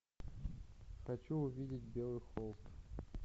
хочу увидеть белый холст